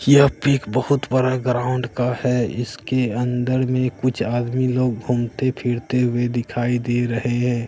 यह pic picture बहुत बड़ा ग्राउंड का है इसके अंदर में कुछ आदमी लोग घूमते फिरते हुए दिखाई दे रहे--